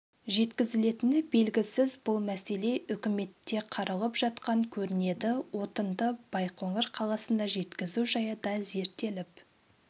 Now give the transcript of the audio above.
жеткізілетіні белгісіз бұл мәселе үкіметте қаралып жатқан көрінеді отынды байқоңыр қаласына жеткізу жайы да зерттеліп